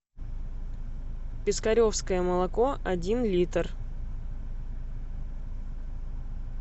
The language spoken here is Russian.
пискаревское молоко один литр